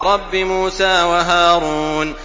رَبِّ مُوسَىٰ وَهَارُونَ